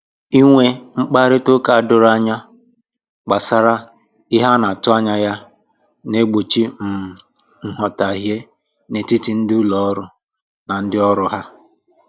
Inwe mkparịta ụka doro anya gbasara ihe a na-atụ anya ya na-egbochi um nghọtahie n'etiti ndị ụlọ ọrụ na ndị ọrụ ha